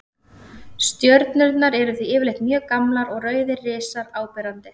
Stjörnurnar eru því yfirleitt mjög gamlar og rauðir risar áberandi.